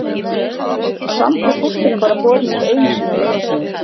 Og samt er pósturinn bara borinn út einu sinni á laugardögum